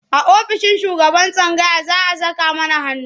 A ofishin shugaban tsangaya za a saka mana hannu.